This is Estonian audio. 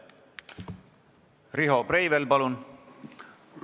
Riho Breivel, palun!